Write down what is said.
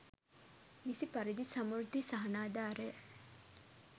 නිසි පරිදි සමෘද්ධි සහනාධාරය